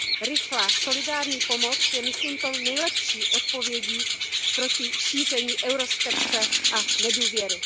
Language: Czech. Rychlá, solidární pomoc je myslím tou nejlepší odpovědí proti šíření euroskepse a nedůvěry.